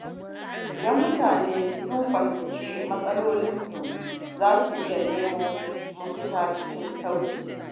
Idan mutane sun fahimci matsalolinsu, za su iya nemo mafita cikin sauƙi.